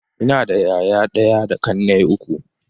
Ina da yaya ɗaya da ƙannai uku.